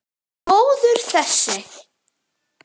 Góður þessi!